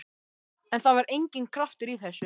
En það var enginn kraftur í þessu.